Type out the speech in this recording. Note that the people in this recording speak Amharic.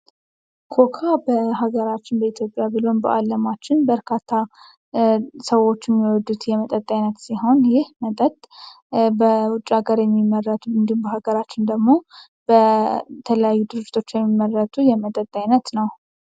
ኮካ በሀገራችን በኢትዮጵያን በአለም ለማችን በርካታ ሰዎች የሚወዱት የመጠይቅ በውጭ ሃገር የሚመረት ምንድን ነው በሀገራችን ደግሞ በተለያዩ ድርጅቶች የሚመረት የመጠጥ አይነት ነው